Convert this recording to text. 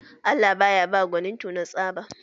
Allah ba ya ba gwanin tona tsaba.